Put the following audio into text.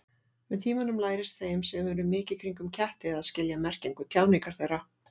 Með tímanum lærist þeim sem eru mikið kringum ketti að skilja merkingu tjáningar þeirra.